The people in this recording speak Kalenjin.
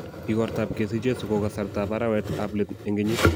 igorta ab kesich jeso ko kasarta ab arewet ab let eng' kenyit